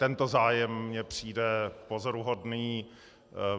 Tento zájem mně přijde pozoruhodný.